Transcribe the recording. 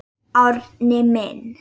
Árni minn.